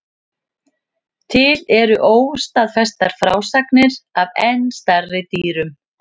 Til eru óstaðfestar frásagnir af enn stærri dýrum.